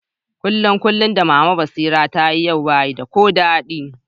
Kulikulin da mama Basira ta yi yau ba yi da ko dadi.